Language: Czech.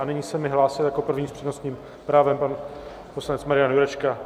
A nyní se mi hlásil jako první s přednostním právem pan poslanec Marian Jurečka.